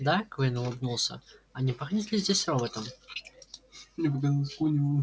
да куинн улыбнулся а не пахнет ли здесь роботом